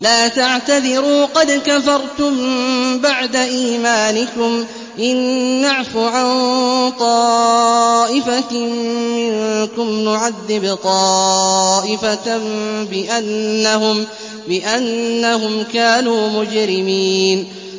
لَا تَعْتَذِرُوا قَدْ كَفَرْتُم بَعْدَ إِيمَانِكُمْ ۚ إِن نَّعْفُ عَن طَائِفَةٍ مِّنكُمْ نُعَذِّبْ طَائِفَةً بِأَنَّهُمْ كَانُوا مُجْرِمِينَ